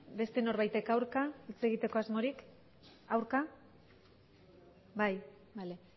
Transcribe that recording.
beste norbaitek aurka hitz egiteko asmorik aurka bai bale